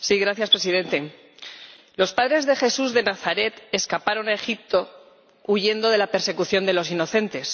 Señor Presidente, los padres de Jesús de Nazaret escaparon a Egipto huyendo de la persecución de los inocentes.